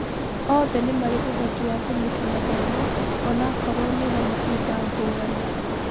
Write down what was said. Othe nĩ marĩ ũhoti wa kũnyita mathomo onakorwo nĩ na mahinda ngũrani.